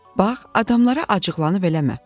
"Bax, adamlara acıqlanıb eləmə.